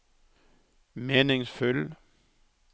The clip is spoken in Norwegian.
meningsfull